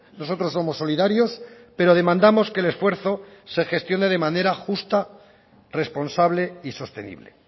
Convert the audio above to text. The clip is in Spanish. nosotros somos solidarios pero demandamos que el esfuerzo se gestione de manera justa responsable y sostenible